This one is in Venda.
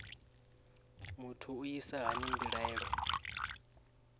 muthu u isa hani mbilaelo